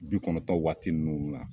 Bi kɔnnɔntɔ waati ninnu ra